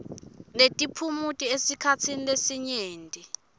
netiphumuti esikhatsini lesinyenti